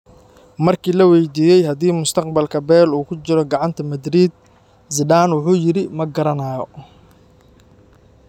Markii la waydiiyay haddii mustaqbalka Bale uu ku jiro gacanta Madrid, Zidane wuxuu yiri: Ma garanayo.